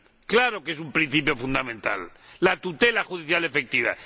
¡Claro que es un principio fundamental la tutela judicial efectiva!